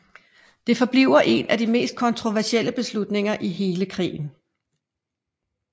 Det forbliver en af de mest kontroversielle beslutninger i hele krigen